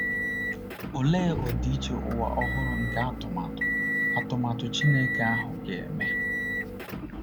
Olee ọdịiche ụwa ọhụrụ nke atụmatụ atụmatụ Chineke ahụ ga-eme!